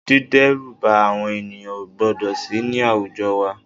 Dídẹ́rùba àwọn ènìyàn o gbọ́dọ̀ sì ní àwùjọ wa